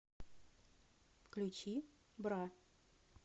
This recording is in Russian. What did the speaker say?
включи бра